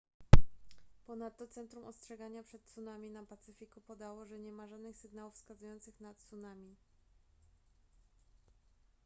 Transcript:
ponadto centrum ostrzegania przed tsunami na pacyfiku podało że nie ma żadnych sygnałów wskazujących na tsunami